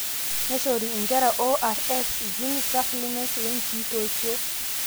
neishori inkera ORS, zinc supplements wenkitotio